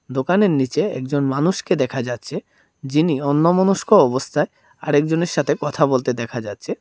দোকানের নীচে একজন মানুষকে দেখা যাচ্ছে যিনি অন্যমনস্ক অবস্থায় আরেকজনের সাথে কথা বলতে দেখা যাচ্ছে।